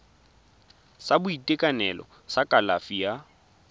sa boitekanelo sa kalafi ya